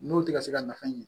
N'o tɛ ka se ka nafa ɲini